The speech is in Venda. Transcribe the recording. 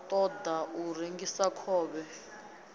ṱo ḓa u rengisa khovhe